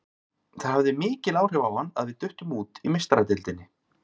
Það hafði mikil áhrif á hann að við duttum út í Meistaradeildinni.